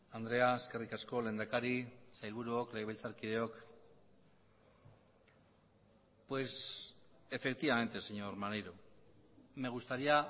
andrea eskerrik asko lehendakari sailburuok legebiltzarkideok pues efectivamente señor maneiro me gustaría